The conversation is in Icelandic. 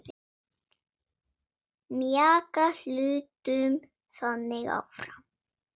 Mjaka hlutum þannig áfram.